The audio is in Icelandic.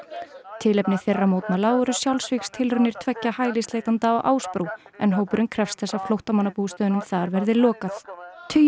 tilefni þeirra mótmæla voru sjálfsvígstilraunir tveggja hælisleitenda á Ásbrú en hópurinn krefst þess að þar verði lokað tugir